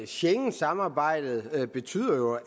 schengensamarbejdet betyder jo